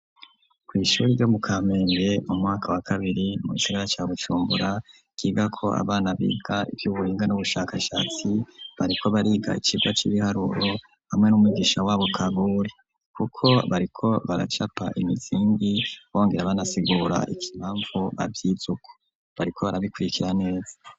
Kwishuri ryo mu Kamenge mu mwaka wa kabiri mugisagara ca BuJumbura ryigako abana biga ivy'ubuhinga n'ubushakashatsi bariko bariga ikibwa c'ibiharuru hamwe n'umugisha wabo karori. Kuko bariko baracapa imizindi bongera banasigura ikimpamvu aby'izuku bariko barabikurikira neza.